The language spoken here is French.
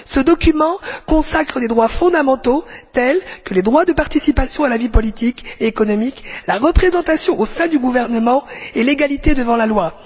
Ce document consacre des droits fondamentaux tels que les droits de participation à la vie politique et économique, la représentation au sein du gouvernement et l'égalité devant la loi.